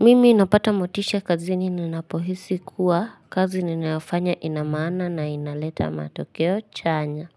Mimi inapata motisha kazini ninapohisi kuwa kazi ninafanya ina maana na inaleta matokeo chanya.